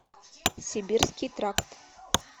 сибирский тракт